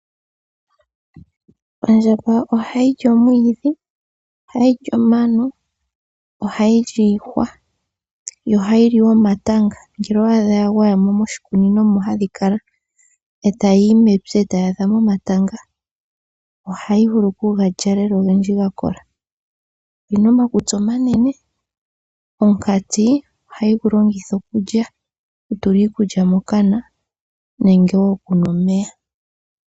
Ondjamba oha yili omwiidhi, omano, iihwa, noha yili omatanga. Uuna dha gwaya mo moshikunino eta yiyi mepya ohayi li omatanga ogendji ga kola, oyina omakutsi omanene. Omukati ohayi gu longitha oku tula iikulya mokana nenge okunwa omeya.